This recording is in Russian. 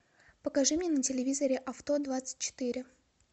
покажи мне на телевизоре авто двадцать четыре